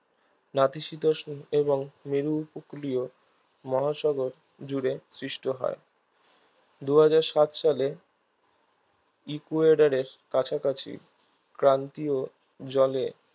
নাতিশীতোষ্ণ এবং মেরু উপকূলীয় মহাসাগর জুড়ে সৃষ্ট হয় দুহাজার সাত সালে ইকুয়েডরের কাছাকাছি ক্রান্তীয় জলে